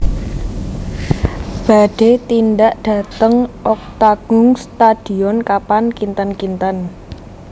Badhe tindak dateng Octagon Studion kapan kinten kinten